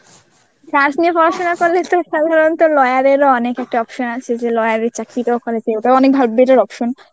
arts নিয়ে পড়শোনা করলে তো সাধারণত lawyer এর ও অনেক একটা option আছে. যে lawyer এর চাকরিটা ওখানে ওটাও অনেক এর option.